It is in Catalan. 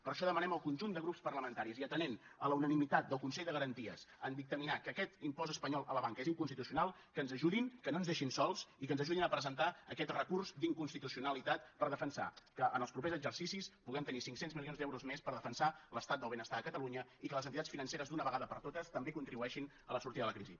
per això demanem al conjunt de grups parlamentaris i atenent a la unanimitat del consell de garanties en dictaminar que aquest impost espanyol a la banca és inconstitucional que ens ajudin que no ens deixin sols i que ens ajudin a presentar aquest recurs d’inconstitucionalitat per defensar que en els propers exercicis puguem tenir cinc cents milions d’euros més per defensar l’estat del benestar a catalunya i que les entitats financeres d’una vegada per totes també contribueixin a la sortida de la crisi